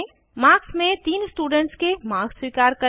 marks में तीन students के मार्क्स स्वीकार करें